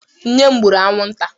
Nne m gbụrụ anwụnta.